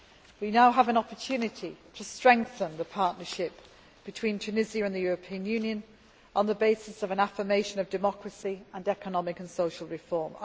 We now have an opportunity to strengthen the partnership between Tunisia and the European Union on the basis of an affirmation of democracy and economic and social reform.